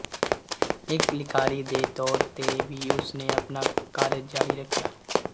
ਇੱਕ ਲਿਖਾਰੀ ਦੇ ਤੌਰ ਤੇ ਵੀ ਉਸਨੇ ਆਪਣਾ ਕਾਰਜ ਜਾਰੀ ਰੱਖਿਆ